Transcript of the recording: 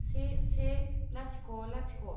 से से लाथिख' लाथिख'